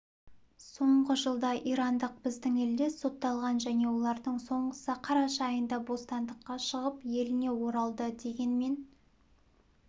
соңғы жылда ирандық біздің елде сотталған және олардың соңғысы қараша айында бостандыққа шығып еліне оралды дегенмен